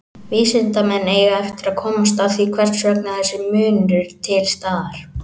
Vísindamenn eiga eftir að komast að því hvers vegna þessi munur er til staðar.